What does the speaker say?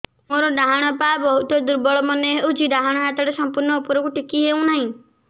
ମୋର ଡାହାଣ ପାଖ ବହୁତ ଦୁର୍ବଳ ମନେ ହେଉଛି ଡାହାଣ ହାତଟା ସମ୍ପୂର୍ଣ ଉପରକୁ ଟେକି ହେଉନାହିଁ